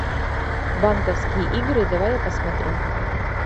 банковские игры давай я посмотрю